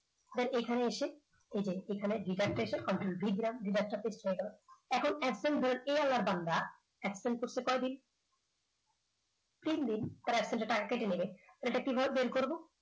এরপর এইখানে এসে এখানে control লিখলাম এখন absent করছে কয়দিন। তিনদিন তার absent র টাকা কেটে নেবে, এটা কিভাবে বের করব